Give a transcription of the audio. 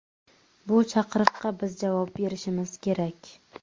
Bu chaqiriqqa biz javob berishimiz kerak.